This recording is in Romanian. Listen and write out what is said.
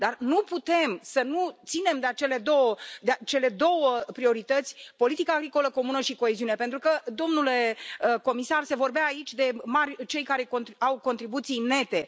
Dar nu putem să nu ținem de acele două priorități politica agricolă comună și coeziune pentru că, domnule comisar, se vorbea aici de cei care au contribuții nete.